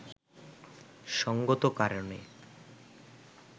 সঙ্গত কারণে